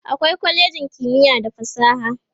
akwai kwalejin kimiya da fasaha